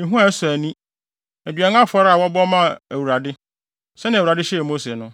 ehua a ɛsɔ ani, aduan afɔre a wɔbɔ maa Awurade, sɛnea Awurade hyɛɛ Mose no.